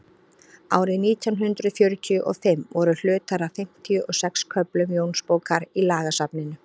árið nítján hundrað fjörutíu og fimm voru hlutar af fimmtíu og sex köflum jónsbókar í lagasafninu